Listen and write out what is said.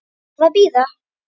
Varð að bíða.